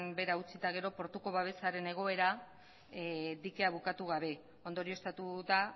behera utzita gero portuko babesaren egoera dikea bukatu gabe ondorioztatuta